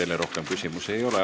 Teile rohkem küsimusi ei ole.